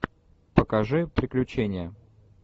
покажи приключения